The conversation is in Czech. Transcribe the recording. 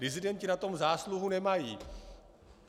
Disidenti na tom zásluhu nemají.